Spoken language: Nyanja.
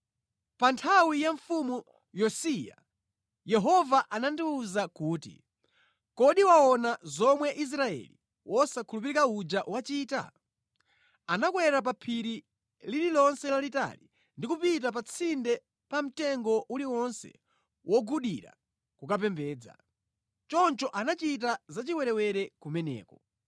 Pa nthawi ya Mfumu Yosiya Yehova anandiwuza kuti, “Kodi waona zomwe Israeli wosakhulupirika uja wachita? Anakwera pa phiri lililonse lalitali ndi kupita pa tsinde pa mtengo uliwonse wogudira kukapembedza. Choncho anachita za chiwerewere kumeneko.